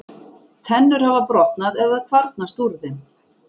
Tennur hafa brotnað eða kvarnast úr þeim.